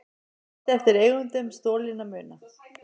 Lýst eftir eigendum stolinna muna